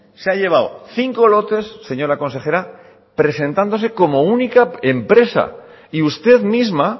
se ha llevado cinco lotes señora consejera presentándose como única empresa y usted misma